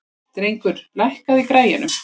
Drengur, lækkaðu í græjunum.